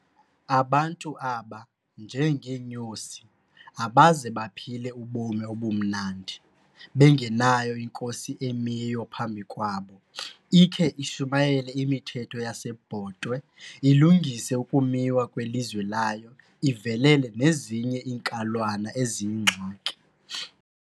Abantu aba, njengeenyosi, abaze baphile ubomi obumnandi, bengenayo inkosi emiyo phambi kwabo, ikhe ishumayele imithetho yasebhotwe, ilungise ukumiwa kwelizwe layo, ivelele nezinye iinkalwana eziyingxaki.